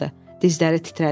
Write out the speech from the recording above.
Dizləri titrədi.